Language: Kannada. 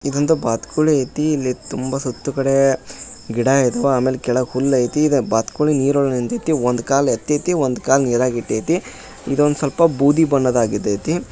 ಇದೊಂದು ಬಾತುಕೋಳಿ ಐತಿ ಇಲ್ಲಿ ತುಂಬಾ ಸುತ್ತು ಕಡೆ ಗಿಡ ಇದಾವು ಆಮೇಲೆ ಕೆಳಗಡೆ ಹುಲ್ಲು ಐತಿ ಈಗ ಬಾತುಕೋಳಿ ನೀರೊಳಗೆ ನಿಂತೈತಿ ಒಂದ್ ಕಾಲು ಯತೈತಿ ಒಂದು ಕಾಲು ನೀರಲ್ಲಿ ಇಟ್ಟೈತಿ ಇದೊಂದು ಸ್ವಲ್ಪ ಬೂದಿ ಬಣ್ಣದಗಿತೈತಿ.